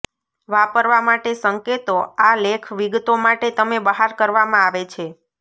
વાપરવા માટે સંકેતો આ લેખ વિગતો માટે તમે બહાર કરવામાં આવે છે